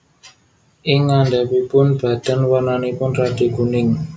Ing ngandhapipun badan warnanipun radi kuning